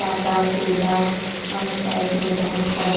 सादा पीला और साइड में बहुत सारे--